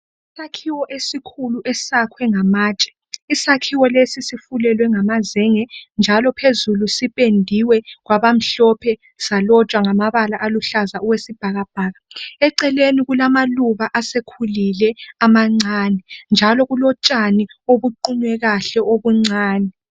Isakhiwo esikhulu esakhwe ngamatshe isakhiwo lesi sifulelwe ngamazenge njalo phezulu sipendiwe kwabamhloohe salotshwa ngamabala aluhlaza okwesibhakabhaka eceleni kulamaluba asekhulile amancane njalo kulotshani obuqunywe kahle obuncane.